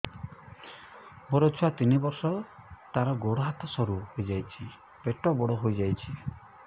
ମୋ ଛୁଆ ତିନି ବର୍ଷ ତାର ଗୋଡ ହାତ ସରୁ ହୋଇଯାଉଛି ପେଟ ବଡ ହୋଇ ଯାଉଛି